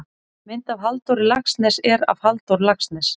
mynd af halldóri laxness er af halldór laxness